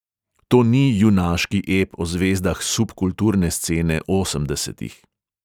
To ni junaški ep o zvezdah subkulturne scene osemdesetih.